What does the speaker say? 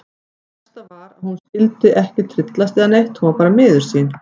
Það versta var að hún skyldi ekki tryllast eða neitt, hún var bara miður sín.